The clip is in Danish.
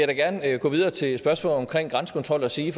gerne gå videre til spørgsmål om grænsekontrol og sige